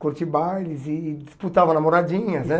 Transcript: curti bailes e disputava namoradinhas, né?